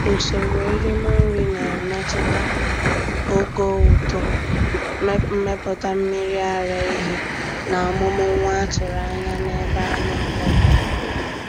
Usoro erim nri na-emetụta ogo uto, mmepụta mmiri ara ehi, na amụm nwa a tụrụ anya n'ebe anụ ụlọ dị.